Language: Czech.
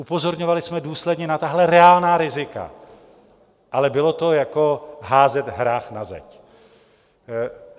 Upozorňovali jsme důsledně na tahle reálná rizika, ale bylo to jako házet hrách na zeď.